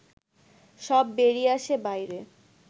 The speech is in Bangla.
সব বেরিয়ে আসে বাইরে